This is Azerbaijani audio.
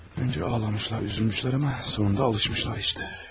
Öncə ağlamışlar, üzülmüşlər amma sonunda alışmışlar işte.